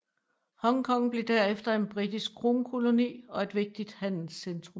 Hongkong blev derefter en britisk kronkoloni og et vigtigt handelscentrum